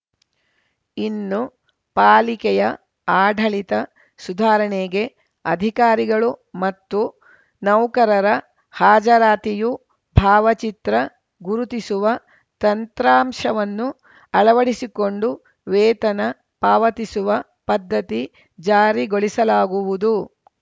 ಇನ್ನು ಪಾಲಿಕೆಯ ಆಡಳಿತ ಸುಧಾರಣೆಗೆ ಅಧಿಕಾರಿಗಳು ಮತ್ತು ನೌಕರರ ಹಾಜರಾತಿಯು ಭಾವಚಿತ್ರ ಗುರುತಿಸುವ ತಂತ್ರಾಂಶವನ್ನು ಅಳವಡಿಸಿಕೊಂಡು ವೇತನ ಪಾವತಿಸುವ ಪದ್ಧತಿ ಜಾರಿಗೊಳಿಸಲಾಗುವುದು